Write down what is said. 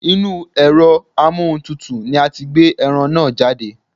Inúu ẹ̀rọ amóhuntutù ni a ti gbé ẹran náà jáde.